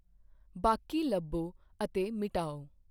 ਬਾਕੀ ਲੱਭੋ ਅਤੇ ਮਿਟਾਓ